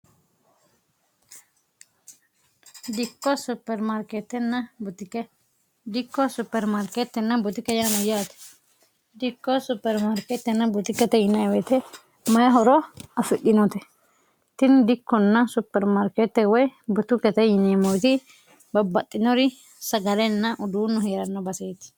dikkoo supermaarkeettenna butike yaanu yaate dikkoo supermaarkeettenna buti kate inewoyite mayi horo affidhinoote tini dikkonna supermaarkeette woy butu kate yine moiti babbaxxinori sagalenna uduunno heeranno baseeti